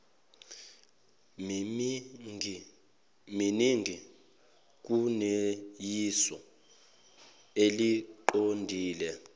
miningi kuneyisu eliqondile